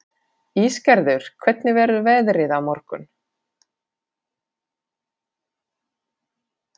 Ísgerður, hvernig verður veðrið á morgun?